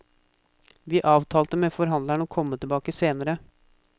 Vi avtalte med forhandleren å komme tilbake senere.